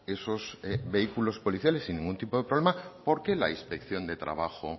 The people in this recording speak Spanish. esos vehículos policiales sin ningún tipo de problema por qué la inspección de trabajo